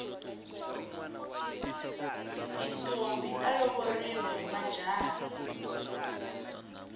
tintombhi ta lovoriwa hi majaha